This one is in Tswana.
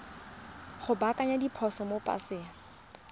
go baakanya diphoso mo paseng